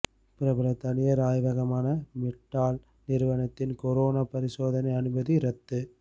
பிரபல தனியார் ஆய்வகமான மெட்ஆல் நிறுவனத்தின் கொரோனா பரிசோதனை அனுமதி ரத்து